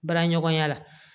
Baara ɲɔgɔnya la